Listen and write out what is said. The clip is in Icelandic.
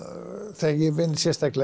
þegar ég vinn sérstaklega